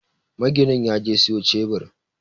Maginin yaje siyo cebir